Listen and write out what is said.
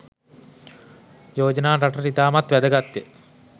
යෝජනා රටට ඉතාමත් වැදගත්ය